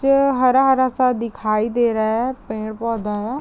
च हरा-हरा सा दिखाई दे रहा है पेड़-पौधा है।